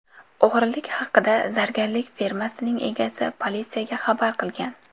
O‘g‘rilik haqida zargarlik firmasining egasi politsiyaga xabar qilgan.